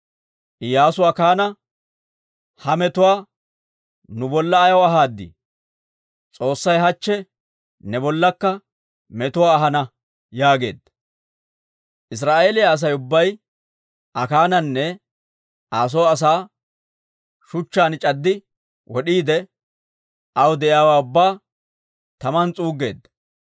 Iyyaasu Akaana, «Ha metuwaa nu bolla ayaw ahaad? S'oossay hachche ne bollakka metuwaa ahana» yaageedda. Israa'eeliyaa Asay ubbay Akaananne Aa soo asaa shuchchaan c'addi wod'iide, aw de'iyaawaa ubbaa taman s'uuggeedda.